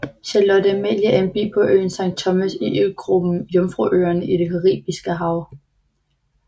Charlotte Amalie er en by på øen Sankt Thomas i øgruppen Jomfruøerne i Det Caribiske Hav